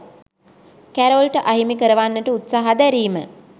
කැරොල්ට අහිමි කරවන්නට උත්සහ දැරීම